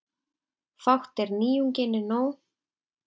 Fátt er nýjunginni nóg.